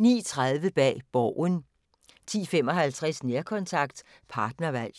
09:30: Bag Borgen 10:55: Nærkontakt – partnervalg